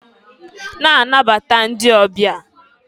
Nabataba ndị ọbịa!